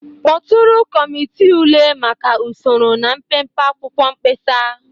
Kpọtụrụ kọmiti ule maka usoro na mpempe akwụkwọ mkpesa.